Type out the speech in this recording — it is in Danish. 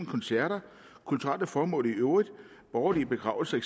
koncerter kulturelle formål i øvrigt borgerlige begravelser